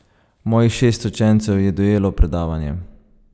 Mojih šest učencev je dojelo predavanje.